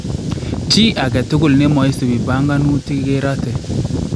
Chi aketukul nemoisipi bankanuutik kerate